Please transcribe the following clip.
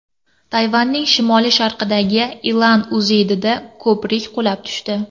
Tayvanning shimoli-sharqidagi Ilan uyezdida ko‘prik qulab tushdi.